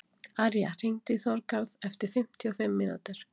Arja, hringdu í Þorgarð eftir fimmtíu og fimm mínútur.